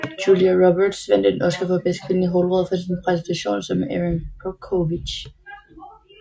Julia Roberts vandt en Oscar for bedste kvindelige hovedrolle for sin præstation som Erin Brockovich